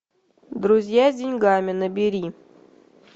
друзья с деньгами набери